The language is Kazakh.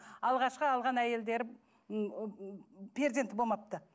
алғашқы алған әйелдері перзенті болмапты